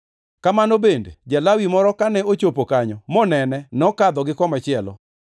Kamano bende, ja-Lawi moro kane ochopo kanyo monene nokadho gi komachielo.